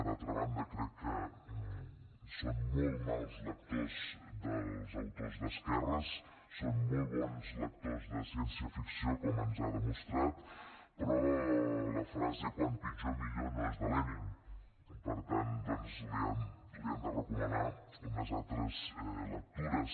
d’altra banda crec que són molt mals lectors dels autors d’esquerres són molt bons lectors de ciència ficció com ens ha demostrat però la frase quant pitjor millor no és de lenin per tant doncs li han de recomanar unes altres lectures